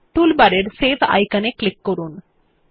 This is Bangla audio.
টুলবারের সেভ আইকনে ক্লিক করুন